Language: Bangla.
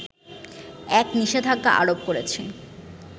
এক নিষেধাজ্ঞা আরোপ করেছে